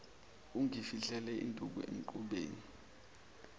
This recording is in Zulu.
ungifihlele induku emqubeni